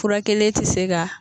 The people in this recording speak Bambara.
Fura kelen ti se ka